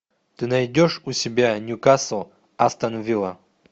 ты найдешь у себя ньюкасл астон вилла